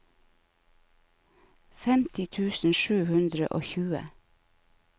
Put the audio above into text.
femti tusen sju hundre og tjue